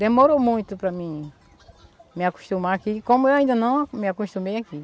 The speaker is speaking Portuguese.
Demorou muito para mim me acostumar aqui, como eu ainda não me acostumei aqui.